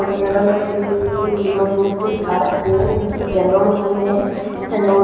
और ये अलग-अलग तरीके के मशीन्स भी दिखा रहे है येलो मशीन है।